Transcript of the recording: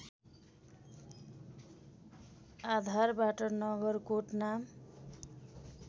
आधारबाट नगरकोट नाम